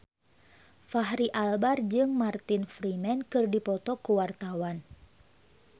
Fachri Albar jeung Martin Freeman keur dipoto ku wartawan